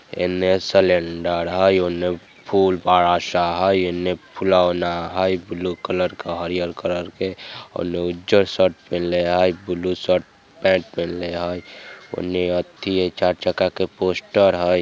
इने सिलिंडर हैं उने फुल वाला सा है इने फुहलावना हैं ब्लू कलर का हरीयर कलर के उने उजर शर्ट पेहनले हैं ब्लू शर्ट पैंट पेहनले हैं उने अथी चार चक्का के पोस्टर हैं।